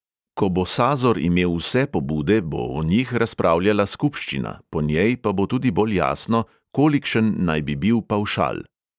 Ko bo sazor imel vse pobude, bo o njih razpravljala skupščina, po njej pa bo tudi bolj jasno, kolikšen naj bi bil pavšal.